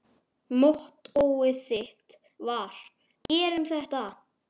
Mottóið þitt var: Gerum þetta!